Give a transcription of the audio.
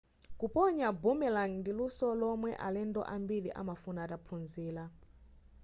kuponya boomerang ndi luso lomwe alendo ambiri amafuna ataphunzira